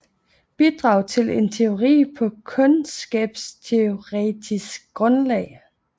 Bidrag til en teori på kundskabsteoretisk grundlag